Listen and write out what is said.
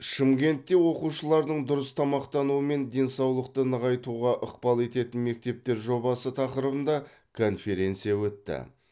шымкентте оқушылардың дұрыс тамақтануы мен денсаулықты нығайтуға ықпал ететін мектептер жобасы тақырыбында конференция өтті